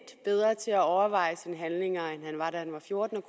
bedre til at overveje sine handlinger end han var da han var 14 og